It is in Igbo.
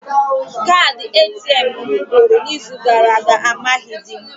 Kaadị ATM m gwụrụ n'izu gara aga, amaghịdị m